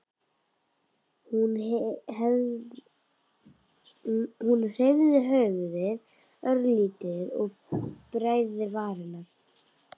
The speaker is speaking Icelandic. Hún hreyfði höfuðið örlítið og bærði varirnar.